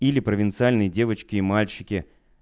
или провинциальные девочки и мальчики